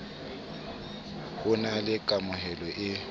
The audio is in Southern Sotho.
ho na le kameho e